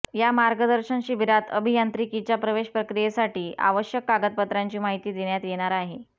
या मार्गदर्शन शिबिरात अभियांत्रिकीच्या प्रवेश प्रक्रियेसाठी आवश्यक कागदपत्रांची माहिती देण्यात येणार आहे